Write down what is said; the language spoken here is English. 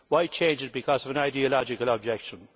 Why change it because of an ideological objection?